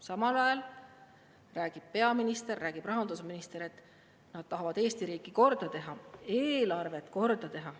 Samal ajal räägib peaminister ja räägib rahandusminister, et nad tahavad Eesti riigi korda teha, eelarve korda teha.